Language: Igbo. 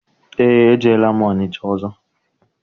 Eé, ejeela m Ọnịcha ọzọ.